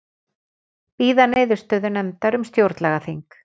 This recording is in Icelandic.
Bíða niðurstöðu nefndar um stjórnlagaþing